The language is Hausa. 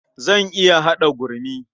Zan iya kaɗa gurmi.